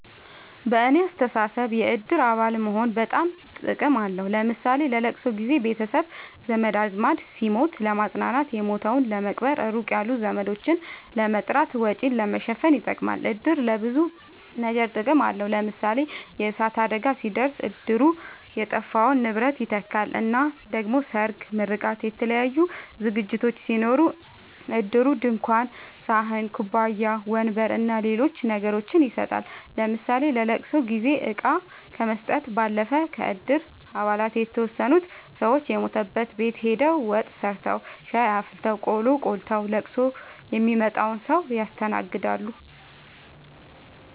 በኔ አስተሳሰብ የእድር አባል መሆን በጣም ጥቅም አለዉ ለምሳሌ ለለቅሶ ጊዘ ቤተሰብ ዘመድአዝማድ ሲሞት ለማጽናናት የሞተዉን ለመቅበር ሩቅ ያሉ ዘመዶችን ለመጥራት ወጪን ለመሸፈን ይጠቅማል። እድር ለብዙ ነገር ጥቅም አለዉ ለምሳሌ የእሳት አደጋ ሲደርስ እድሩ የጠፋውን ንብረት ይተካል እና ደሞ ሰርግ ምርቃት የተለያዩ ዝግጅቶች ሲኖሩ እድሩ ድንኳን ሰሀን ኩባያ ወንበር አና ሌሎች ነገሮችን ይሰጣል ለምሳሌ ለለቅሶ ጊዜ እቃ ከመስጠት ባለፈ ከእድር አባላት የተወሰኑት ሰወች የሞተበት ቤት ሆደው ወጥ ሰርተዉ ሻይ አፍልተው ቆሎ ቆልተዉ ለቅሶ ሚመጣዉን ሰዉ ያስተናግዳሉ።